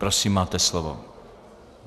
Prosím, máte slovo.